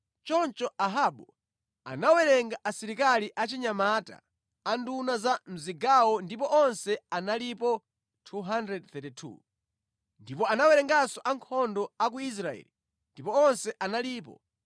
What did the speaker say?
Choncho Ahabu anawerenga asilikali achinyamata a nduna za mʼzigawo ndipo onse analipo 232. Ndipo anawerenganso ankhondo a ku Israeli ndipo onse analipo 7,000.